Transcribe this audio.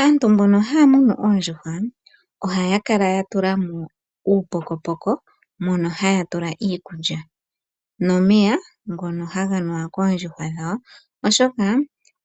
Aantu mbono haya muna oondjuhwa, ohaya kala ye na uupokopoko mono ya tula mo iikulya nomeya ngono haga nuwa koondjuhwa dhawo, oshoka